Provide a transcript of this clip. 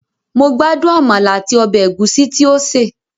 Mo gbádùn àmàlà àti ọbẹ̀ ẹ̀gúsí tí ó sè